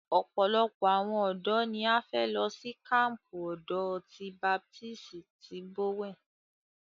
Ọ̀pọ̀lọpọ̀ àwọn ọ̀dọ́ ní a fẹ́ lọ sí kampu ọ̀dọ́ ti baptisi ní Bowen.